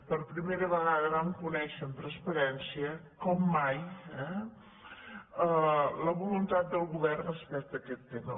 per primera vegada vam conèixer amb transpa·rència com mai eh la voluntat del govern respecte a aquest tema